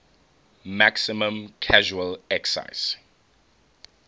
maximum casual excise